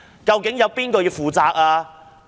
究竟誰應負責呢？